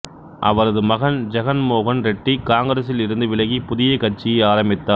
அவரது மகன் ஜெகன் மோகன் ரெட்டி காங்கிரசில் இருந்து விலகி புதிய கட்சியை ஆரம்பித்தார்